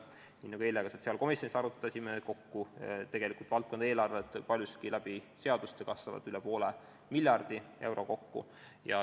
Nii nagu eile ka sotsiaalkomisjonis arutasime, valdkonna eelarved kasvavad paljuski seaduste abil kokku üle poole miljardi euro.